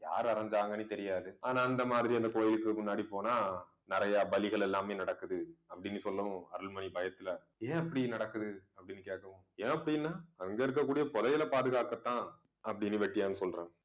யார் அரைஞ்சாங்கன்னு தெரியாது. ஆனா அந்த மாதிரி அந்த கோயிலுக்கு முன்னாடி போனா நிறைய பலிகள் எல்லாமே நடக்குது அப்படின்னு சொல்லவும் அருள்மொழி பயத்துல ஏன் அப்படி நடக்குது அப்படின்னு கேட்கவும் ஏன் அப்படின்னா அங்க இருக்கக்கூடிய புதையலை பாதுகாக்கத்தான் அப்படின்னு வெட்டியான் சொல்றாங்க